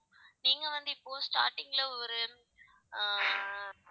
நீங்க வந்து இப்போ starting ல ஒரு ஆஹ்